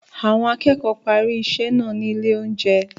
Àwọn akẹ́kọ̀ọ́ parí iṣẹ́ náà ní ilé-oúnjẹ.